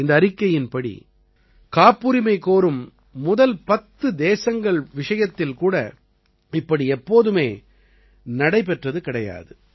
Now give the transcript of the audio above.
இந்த அறிக்கையின்படி காப்புரிமை கோரும் முதல் பத்து தேசங்கள் விஷயத்தில் கூட இப்படி எப்போதுமே நடைபெற்றது கிடையாது